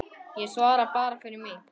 Ég svara bara fyrir mig.